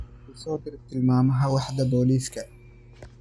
ii soo dir tilmaamaha waaxda booliska